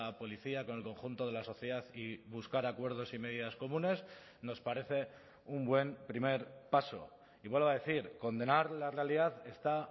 policía con el conjunto de la sociedad y buscar acuerdos y medidas comunes nos parece un buen primer paso y vuelvo a decir condenar la realidad está